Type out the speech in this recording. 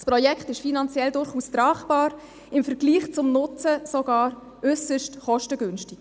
Das Projekt ist finanziell durchaus tragbar, im Vergleich zum Nutzen sogar äusserst kostengünstig.